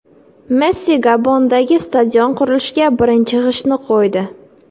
Messi Gabondagi stadion qurilishiga birinchi g‘ishtni qo‘ydi.